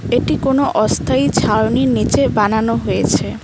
এটি কোনও অস্থায়ী ছাউনির নীচে বানানো হয়েছে।